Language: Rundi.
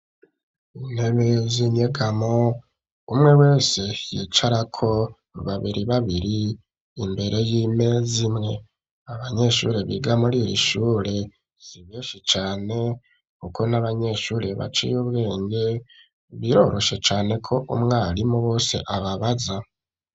Intebe zinyegamo umwe wese yicarako babiri babiri imbere y'imezimwe abanyeshuri biga muri iri ishure zibeshi cane, kuko n'abanyeshuri baca iy' ubwenge biroroshe cane ko umwarimu bose ababaza.